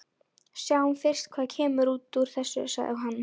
Sjáum fyrst hvað kemur út úr þessu, sagði hann.